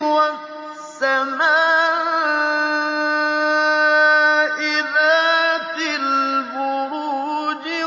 وَالسَّمَاءِ ذَاتِ الْبُرُوجِ